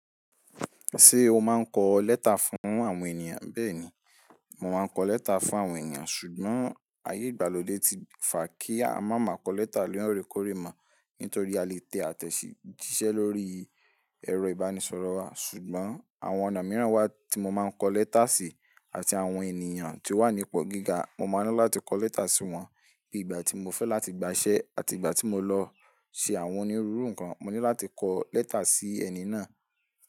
Ṣé o máa ń kọ lẹ́tà fún àwọn ènìyàn? Bẹ́ẹ̀ni, mo máa ń kọ lẹ́tà fún àwọn ènìyàn, ṣùgbọ́n ayé ìgbàlódé ti fà kí a má máa kọ lẹ́tà lóore kóòrè mọ́, nítorí a lè tẹ àtẹ̀jíṣẹ́ lórí ẹ̀rọ ìbánisọ̀rọ̀ wa. Ṣùgbọ́n àwọn ọ̀nà mìíràn wà tí mo máa ń kọ lẹ́tà síi, àti àwọn ènìyàn tí ó wà nípo gíga, mo máa ń ní láti kọ lẹ́tà sí wọ́n. Bí ìgbà tí mo fẹ́ láti gbaṣẹ́ àti ìgbà tí mo lọ ṣe àwọn onírúurú nǹkan, mo ní láti kọ lẹ́tà sí ẹni náà.